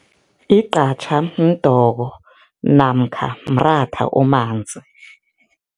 Igqatjha mdoko namkha mratha omanzi.